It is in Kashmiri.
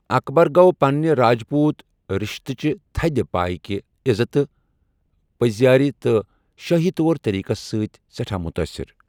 اکبر گوٚو پنٛنہِ راجپوٗت رِشتہٕ چہِ تھدِ پایہِ کہِ عزتہٕ، پٔزِیٛٲری تہٕ شٲہی طور طٔریٖقس سۭتۍ سٮ۪ٹھا مُتٲثِر۔